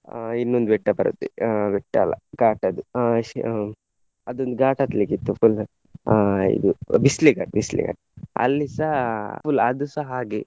ಅಹ್ ಇನ್ನೊಂದು ಬೆಟ್ಟ ಬರುತ್ತೆ ಅಹ್ ಬೆಟ್ಟ ಅಲ್ಲ ಘಾಟ್ ಅದು ಅಹ್ ಅದೊಂದು ಘಾಟ್ ಹತ್ಲಿಕ್ಕೆ ಇತ್ತು full ಅಹ್ ಇದು ಬಿಸ್ಲೆ ಘಾಟ್ ಬಿಸ್ಲೆ ಘಾಟ್ ಅಲ್ಲಿಸ full ಅದುಸ ಹಾಗೆ.